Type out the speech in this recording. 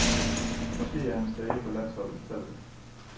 Måske er hans dage på landsholdet talte.